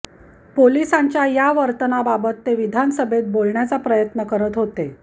पोलिसांच्या या वर्तनाबाबत ते विधानसभेत बोलण्याचा प्रयत्न करत होते